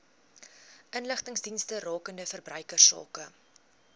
inligtingsdienste rakende verbruikersake